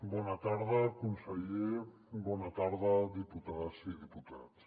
bona tarda conseller bona tarda diputades i diputats